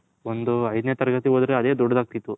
ಒಂದ್ ಏದನೆ ತರಗತಿ ಓದಿದರು ಅದ ದೊಡ್ದುದ್ ಅಗ್ತಿತು.